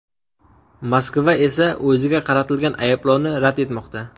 Moskva esa o‘ziga qaratilgan ayblovni rad etmoqda.